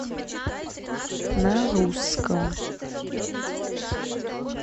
на русском